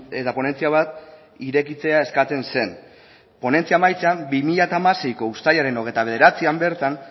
eta ponentzia bat irekitzea eskatzen zen ponentzia amaitzean bi mila hamaseiko uztailaren hogeita bederatzian bertan